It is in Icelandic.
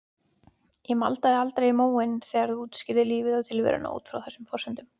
Ég maldaði aldrei í móinn þegar þú útskýrðir lífið og tilveruna út frá þessum forsendum.